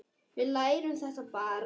Við lærum þetta bara.